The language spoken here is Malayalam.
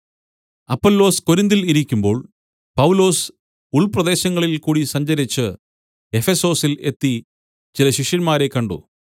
അപ്പൊല്ലോസ് കൊരിന്തിൽ ഇരിക്കുമ്പോൾ പൗലോസ് ഉൾപ്രദേശങ്ങളിൽ കൂടി സഞ്ചരിച്ച് എഫെസൊസിൽ എത്തി ചില ശിഷ്യന്മാരെ കണ്ട്